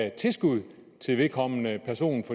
et tilskud til vedkommende person